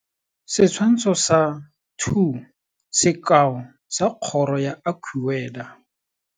Setshwantsho sa 2 - Sekao sa kgoro ya AccuWeather.